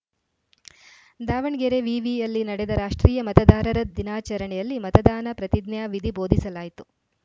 ದಾವಣಗೆರೆ ವಿವಿಯಲ್ಲಿ ನಡೆದ ರಾಷ್ಟ್ರೀಯ ಮತದಾರರ ದಿನಾಚರಣೆಯಲ್ಲಿ ಮತದಾನ ಪ್ರತಿಜ್ಞಾವಿಧಿ ಬೋಧಿಸಲಾಯಿತು